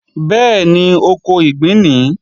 Bẹ́ẹ̀ni, oko ìgbín nìí